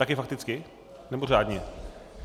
Taky fakticky, nebo řádně?